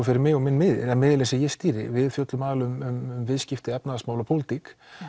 fyrir mig og minn miðil miðilinn sem ég stýri við fjöllum aðallega um viðskipti efnahagsmál og pólitík